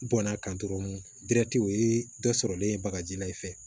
Bɔnna kan dɔrɔn dɛri o ye dɔ sɔrɔlen ye bagaji la i fɛ